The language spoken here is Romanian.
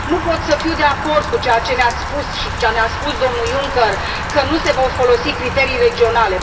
Nu pot să fiu de acord cu ceea ce ne ați spus și cu ceea ce ne a spus domnul Juncker, că nu se vor folosi criterii regionale.